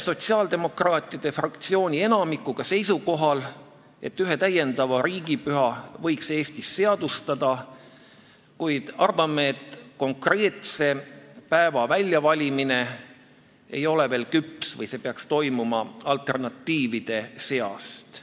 Sotsiaaldemokraatide fraktsiooni enamik on seisukohal, et ühe täiendava riigipüha võiks Eestis seadustada, kuid arvame, et konkreetse päeva väljavalimiseks ei ole aeg veel küps või see valik tuleks teha alternatiivide seast.